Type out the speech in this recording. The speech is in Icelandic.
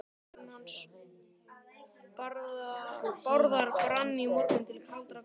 Báturinn hans Bárðar brann í morgun til kaldra kola.